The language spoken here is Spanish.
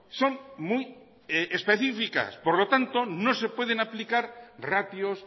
son muy específicas por lo tanto no se pueden aplicar ratios